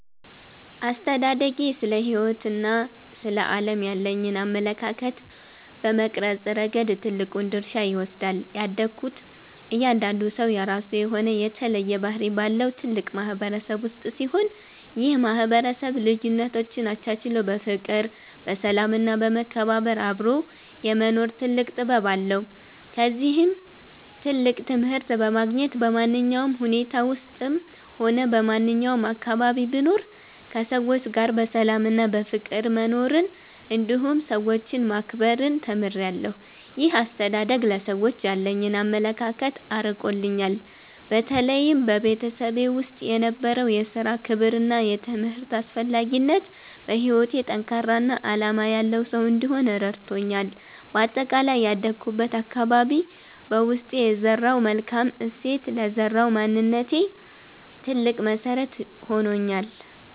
አስተዳደጌ ስለ ሕይወትና ስለ ዓለም ያለኝን አመለካከት በመቅረጽ ረገድ ትልቁን ድርሻ ይወስዳል። ያደግኩት እያንዳንዱ ሰው የራሱ የሆነ የተለየ ባህሪ ባለው ትልቅ ማህበረሰብ ውስጥ ሲሆን፣ ይህ ማህበረሰብ ልዩነቶችን አቻችሎ በፍቅር፣ በሰላም እና በመከባበር አብሮ የመኖር ትልቅ ጥበብ አለው። ከዚህም ትልቅ ትምህርት በማግኘት፣ በማንኛውም ሁኔታ ውስጥም ሆነ በማንኛውም አካባቢ ብኖር ከሰዎች ጋር በሰላምና በፍቅር መኖርን እንዲሁም ሰዎችን ማክበርን ተምሬያለሁ። ይህ አስተዳደግ ለሰዎች ያለኝን አመለካከት አርቆልኛል። በተለይም በቤተሰቤ ውስጥ የነበረው የሥራ ክብርና የትምህርት አስፈላጊነት፣ በሕይወቴ ጠንካራና ዓላማ ያለው ሰው እንድሆን ረድቶኛል። በአጠቃላይ ያደግኩበት አካባቢ በውስጤ የዘራው መልካም እሴት ለዛሬው ማንነቴ ትልቅ መሰረት ሆኖኛል።